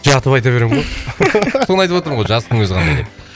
жатып айта беремін ғой соны айтып отырмын ғой жатыстың өзі қандай деп